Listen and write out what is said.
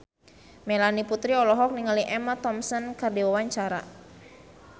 Melanie Putri olohok ningali Emma Thompson keur diwawancara